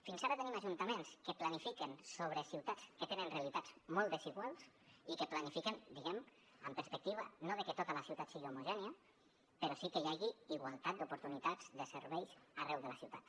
fins ara tenim ajuntaments que planifiquen sobre ciutats que tenen realitats molt desiguals i que planifiquen diguem ne amb la perspectiva no de que tota la ciutat sigui homogènia però sí que hi hagi igualtat d’oportunitats de serveis arreu de la ciutat